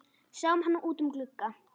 Sáum hann út um glugga.